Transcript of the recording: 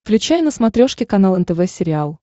включай на смотрешке канал нтв сериал